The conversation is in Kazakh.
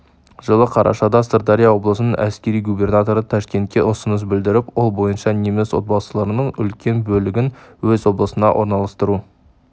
жылы қарашада сырдария облысының әәскери губернаторы ташкентке ұсыныс білдіріп ол бойынша неміс отбасыларының үлкен бөлігін өз облысына орналастыру